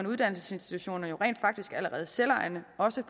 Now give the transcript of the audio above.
uddannelsesinstitutioner jo rent faktisk allerede selvejende også